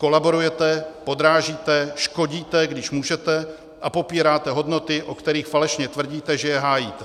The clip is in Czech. Kolaborujete, podrážíte, škodíte, když můžete, a popíráte hodnoty, o kterých falešně tvrdíte, že je hájíte.